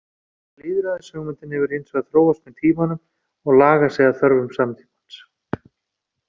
Lýðræðishugmyndin hefur hins vegar þróast með tímanum og lagað sig að þörfum samtímans.